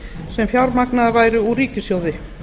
sem fjármagnaðar væru úr ríkissjóði